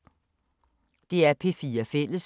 DR P4 Fælles